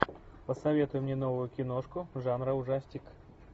посоветуй мне новую киношку жанра ужастик